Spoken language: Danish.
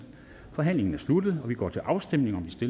forhandlingen er sluttet og vi går til afstemning om de